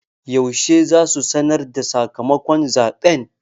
Yaushe za su sanarda sakamakon zaɓen?